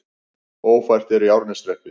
Ófært er í Árneshreppi